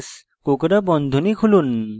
do space